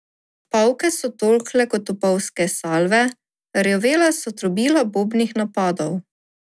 Pavke so tolkle kot topovske salve, rjovela so trobila bombnih napadov.